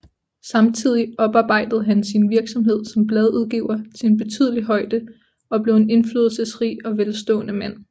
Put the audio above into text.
Samtidig oparbejdede han sin virksomhed som bladudgiver til en betydelig højde og blev en indflydelsesrig og velstående mand